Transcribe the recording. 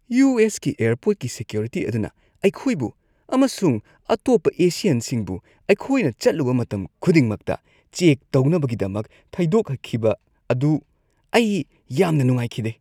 U. S. ꯀꯤ ꯑꯦꯔꯄꯣꯔꯠꯀꯤ security ꯑꯗꯨꯅ ꯑꯩꯈꯣꯏꯕꯨ ꯑꯃꯁꯨꯡ ꯑꯇꯣꯞꯄ ꯑꯦꯁꯤꯌꯟꯁꯤꯡꯕꯨ ꯑꯩꯈꯣꯏꯅ ꯆꯠꯂꯨꯕ ꯃꯇꯝ ꯈꯨꯗꯤꯡꯃꯛꯇ ꯆꯦꯛ ꯇꯧꯅꯕꯒꯤꯗꯃꯛ ꯊꯩꯗꯣꯛꯈꯤꯕ ꯑꯗꯨ ꯑꯩ ꯌꯥꯝꯅ ꯅꯨꯡꯉꯥꯏꯈꯤꯗꯦ꯫